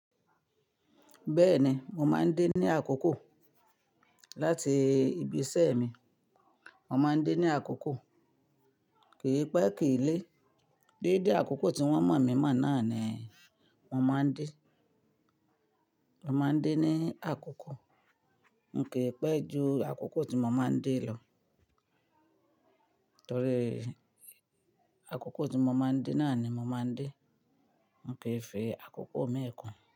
Bẹ́ẹ̀ni, mo máa ń dé ní àkókò láti ibi iṣẹ́ mi. Mo máa ń dé ní àkókò, kì í pé kì í lé. Déédé àkókò tí wọ́n mọ̀ mí mọ̀ náà ni mo máa ń dé. Mo máa ń dé ní àkókò. N kò pẹ́ ju àkókò tí mo máa ń dé lọ. Torí àkókò tí mo máa ń dé náà ni mo máa ń dé. N kò ì fi àkókò mi kún.